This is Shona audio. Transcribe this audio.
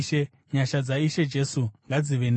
Nyasha dzaIshe Jesu ngadzive nemi.